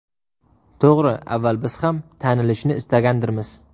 To‘g‘ri, avval biz ham tanilishni istagandirmiz.